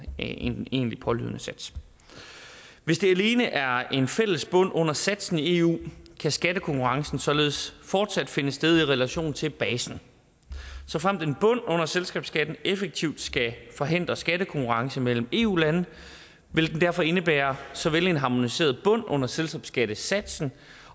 egentlige pålydende sats hvis der alene er tale om en fælles bund under satsen i eu kan skattekonkurrencen således fortsat finde sted i relation til basen såfremt en bund under selskabsskatten effektivt skal forhindre skattekonkurrence mellem eu lande vil den derfor indebære såvel en harmoniseret bund under selskabsskattesatsen